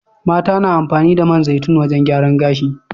Mata na amfani da man zaitun wajan gyaran gashi